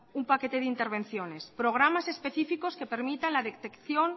un paquete de intervenciones programas específicos que permitan la detección